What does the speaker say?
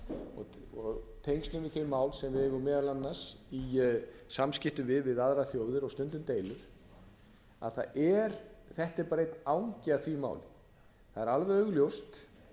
og tengslum við þau mál sem eigum meðal annars í samskiptum við við aðrar þjóðir og stundum deilur að þetta er bara einn angi af því máli það er alveg augljóst